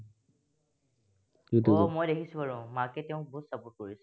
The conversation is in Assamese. দেখিছো বাৰু, মাকে তেওঁক বহুত support কৰে।